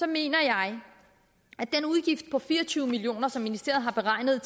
mener jeg at den udgift på fire og tyve million kr som ministeriet har beregnet